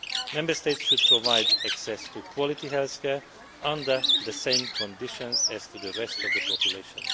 Member States should provide access to quality healthcare under the same conditions as for the rest of the population.